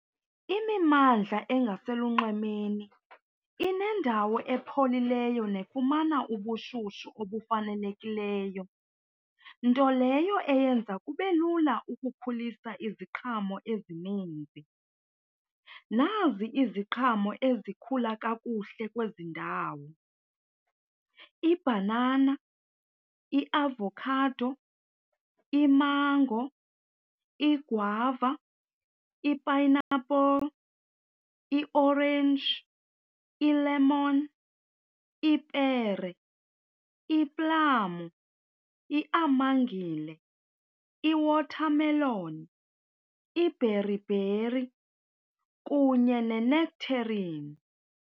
Imimmandla engaselunxwemeni inendawo epholileyo nefumana ubushushu obufanelekileyo, nto leyo eyenza kube lula ukukhulisa iziqhamo ezininzi. Nazi iziqhamo ezikhula kakuhle kwezi ndawo, ibhanana, iavokhado, imango, igwava, i-pineapple, i-orange, i-lemon, ipere, iplamu, iamangile, i-watermelon, ibheribheri kunye ne-nectarine.